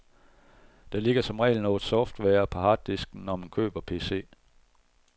Der ligger som regel noget software på harddisken, når man køber pc.